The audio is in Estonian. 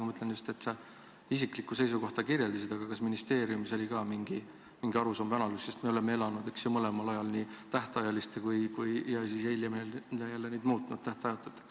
Ma mõtlen just, et sa kirjeldasid isiklikku seisukohta, aga kas ministeeriumis oli ka mingi arusaam või analüüs, sest me oleme elanud, eks ju, mõlemal ajal, tähtajaliste lepingute ajal ja hiljem jälle muutnud need tähtajatuteks?